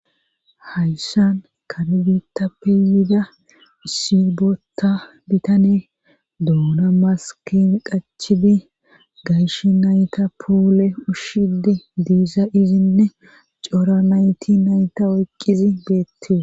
hayssan kare biitta peeyida sibota bitane doona maskim qachibi gayshi nayta puule ushshidi diisa izinne cora nayti nayta oyqqizi beettie